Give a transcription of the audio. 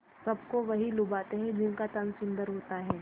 सबको वही लुभाते हैं जिनका तन सुंदर होता है